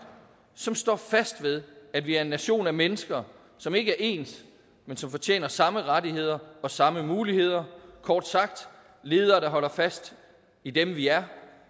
som står fast ved at vi er en nation af mennesker som ikke er ens men som fortjener samme rettigheder og samme muligheder kort sagt ledere der holder fast i dem vi er